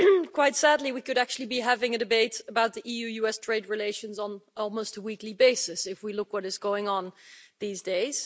Quite sadly, we could actually be having a debate about EU US trade relations on almost a weekly basis if we look at what is going on these days.